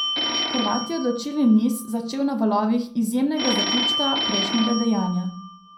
Hrvat je odločilni niz začel na valovih izjemnega zaključka prejšnjega dejanja.